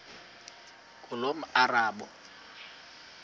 ngulomarabu